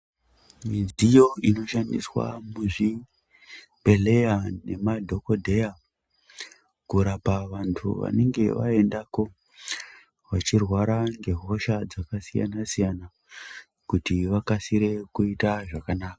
Mudziyo inoshandiswa muzvibhedhleya nemadhokodheya kurapa vanthu vanonga vaendako vachirwara ngehosha dzakasiyana-siyana kuti vakasire kuita zvakanaka.